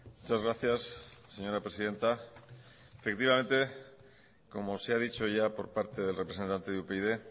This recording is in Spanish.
muchas gracias señora presidenta efectivamente como se ha dicho ya por parte del representante de upyd